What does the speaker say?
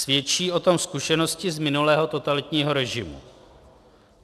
Svědčí o tom zkušenosti z minulého totalitního režimu.